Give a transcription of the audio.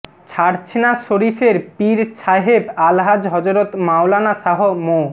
ছারছীনা শরীফের পীর ছাহেব আলহাজ হযরত মাওলানা শাহ্ মো